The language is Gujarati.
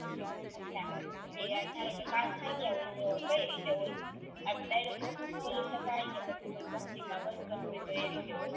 અછા પછી ધારોકે પાસ થઈ ગયા હોય તો કઈ રીતે હોય direct office ખોલી સકાય કે કોય company મા work કરવું હોય તો એ રીતે હોય